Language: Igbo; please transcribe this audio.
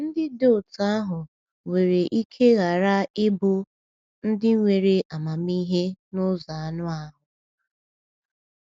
Ndị dị otú ahụ nwere ike ghara ịbụ “ndị nwere amamihe n’ụzọ anụ ahụ.”